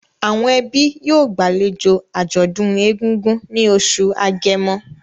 Àwọn ẹbí yóò gbàlejò àjọ̀dún egungun ní oṣù Agẹmọ